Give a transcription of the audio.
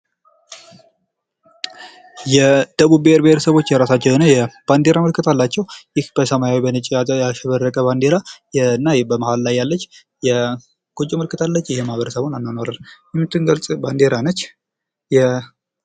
የደቡብ ብሔር ብሔረሰቦች የራሳቸው የሆነ የባንዲራ ምልክት አላቸው። ይህ በሰማያዊ በነጭ ያሸበረቀ ባንዴራ እና በመሃል ላይ ያለች የጎጆ ምልክት አለች። የማህበረሰቡን አኗኗር የምትገልጽ ባንዲራ ነች።